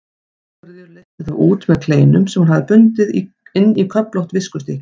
Sigríður leysti þá út með kleinum sem hún hafði bundið inn í köflótt viskustykki.